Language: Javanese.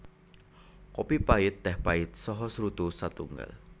Kopi pait téh pait saha srutu satunggal